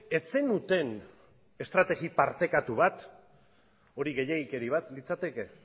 ez zenuten estrategi partekatu bat hori gehiegikeri bat litzateke